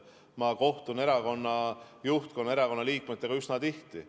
Ma kohtun erakonna juhtkonna ja erakonna liikmetega üsna tihti.